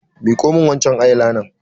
Miƙo min wancan eye liner!